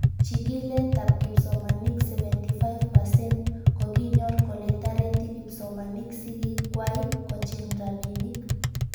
Chig'ilet ab kipsomanik 78% kokinyor kole tareti kipsomanik sig'ik kwai kocheng' rabinik